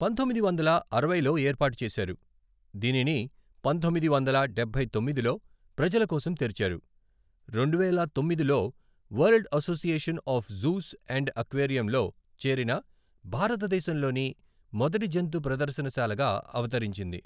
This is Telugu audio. పంతొమ్మిది వందల అరవైలో ఏర్పాటు చేశారు, దీనిని పంతొమ్మిది వందల డబ్బై తొమ్మిదిలో ప్రజల కోసం తెరిచారు, రెండువేల తొమ్మిదిలో world association of zoos and అక్వేరియంలో చేరిన భారతదేశంలోని మొదటి జంతు ప్రదర్శనశాలగా అవతరించింది.